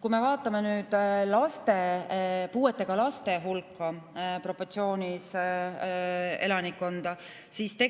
Kui me vaatame puuetega laste ja elanikkonna proportsiooni, siis